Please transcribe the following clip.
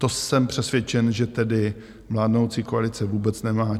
To jsem přesvědčen, že tedy vládnoucí koalice vůbec nemá.